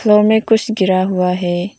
Hall में कुछ गिरा हुआ है।